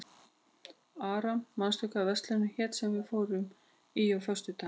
Ara, manstu hvað verslunin hét sem við fórum í á föstudaginn?